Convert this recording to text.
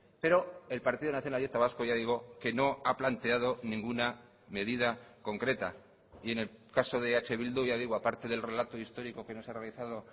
pero el partido nacionalista vasco ya digo que no ha planteado ninguna medida concreta y en el caso de eh bildu ya digo aparte del relato histórico que nos ha realizado